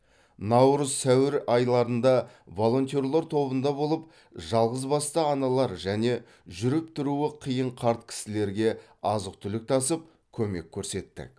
наурыз сәуір айларында волонтерлар тобында болып жалғызбасты аналар және жүріп тұруы қиын қарт кісілерге азық түлік тасып көмек көрсеттік